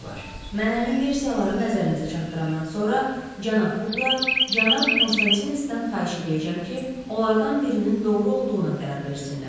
Mən əmin versiyaları nəzərinizə çatdırandan sonra cənab Bukla, cənab Konstantindən xahiş eləyəcəm ki, onlardan birinin doğru olduğuna qərar versinlər.